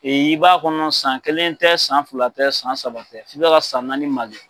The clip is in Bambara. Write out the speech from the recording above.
i b'a kɔnɔ san kelen tɛ san fila tɛ san saba tɛ i bɛ ka san naani magɛn.